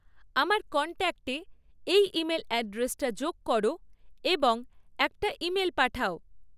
আমার কন্ট্যাক্টে এই ইমেল অ্যাড্রেসটা যোগ করো এবং একটা ইমেল পাঠাও